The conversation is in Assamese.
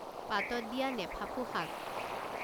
পাতত দিয়া নেফাফু শাক